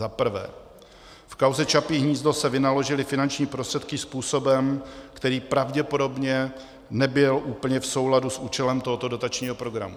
Za prvé, v kauze Čapí hnízdo se vynaložily finanční prostředky způsobem, který pravděpodobně nebyl úplně v souladu s účelem tohoto dotačního programu.